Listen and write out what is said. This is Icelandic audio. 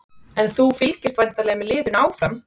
En þú fylgist væntanlega með liðinu áfram?